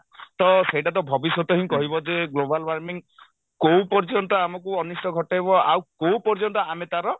ତ ସେଇଟା ତ ଭବିଷ୍ୟତ ହିଁ କହିବ ଯେ global warming କଉ ପର୍ଯ୍ୟନ୍ତ ଆମକୁ ଅନିଷ୍ଠ ଘଟେଇବ ଆଉ କଉ ପର୍ଯ୍ୟନ୍ତ ଆମେ ତାର